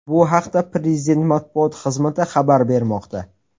Bu haqda Prezident Matbuot xizmati xabar bermoqda .